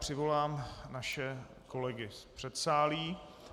Přivolám naše kolegy z předsálí.